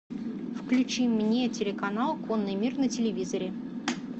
включи мне телеканал конный мир на телевизоре